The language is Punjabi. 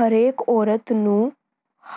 ਹਰੇਕ ਔਰਤ ਨੂੰ